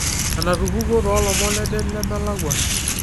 enatupukuo toolomon ledet lemelakua